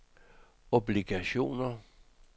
obligationer